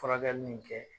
Furakɛli nin kɛ